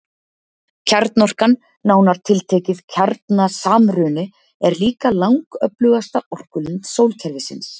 Kjarnorkan, nánar tiltekið kjarnasamruni, er líka langöflugasta orkulind sólkerfisins.